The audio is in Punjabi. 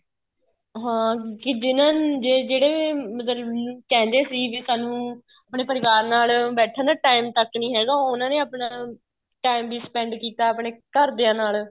ਹਾਂ ਕੀ ਜਿਹਨਾ ਜਿਹੜੇ ਮਤਲਬ ਕੀ ਕਹਿੰਦੇ ਵੀ ਸਾਨੂੰ ਆਪਣੇ ਪਰਿਵਾਰ ਨਾਲ ਬੈਠਣ ਦਾ time ਤੱਕ ਨਹੀਂ ਹੈਗਾ ਉਹਨਾ ਨੇ ਆਪਣਾ time ਵੀ spend ਕੀਤਾ ਆਪਣੇ ਘਰਦਿਆ ਦੇ ਨਾਲ